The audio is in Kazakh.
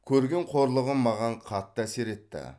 көрген қорлығым маған қатты әсер етті